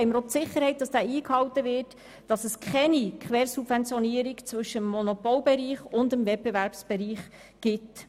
Somit haben wir die Sicherheit, dass er eingehalten wird und keine Quersubventionierung zwischen Monopol- und Wettbewerbsbereich besteht.